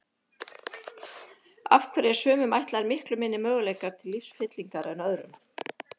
Af hverju eru sumum ætlaðir miklu minni möguleikar til lífsfyllingar en öðrum?